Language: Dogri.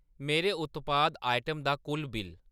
मेरे उत्पाद आइटम दा कुल बिल्ल